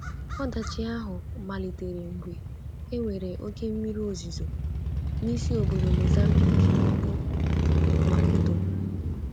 Ọdachi ahụ malitere mgbe e nwere oké mmiri ozuzo n’isi obodo Mozambique, bụ́ Maputo.